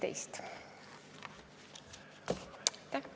Aitäh!